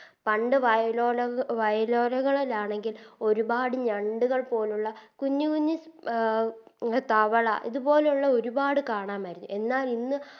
പണ്ട് വയലോലക വയലോരങ്ങളിലാണെങ്കിൽ ഒരുപാട് ഞണ്ട്കൾ പോലുള്ള കുഞ്ഞ് കുഞ്ഞ് അഹ് തവള ഇങ്ങനെയുള്ള ഒരുപാട് കാണാമായിരുന്നു എന്നാൽ ഇന്ന്